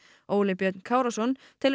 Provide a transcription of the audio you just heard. Óli Björn Kárason telur